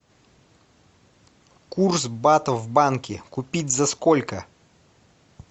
курс бата в банке купить за сколько